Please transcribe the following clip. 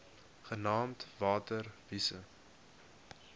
genaamd water wise